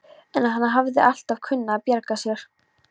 En hann hafði alltaf kunnað að bjarga sér.